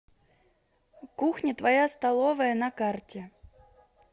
кухня твоя столовая на карте